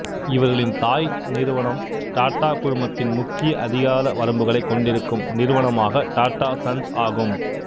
இவர்களின் தாய் நிறுவனம் டாட்டா குழுமத்தின் முக்கிய அதிகார வரம்புகளை கொண்டிருக்கும் நிறுவனமான டாட்டா சன்ஸ் ஆகும்